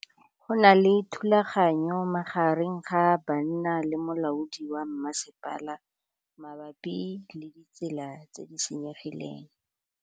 Go na le thulanô magareng ga banna le molaodi wa masepala mabapi le ditsela tse di senyegileng.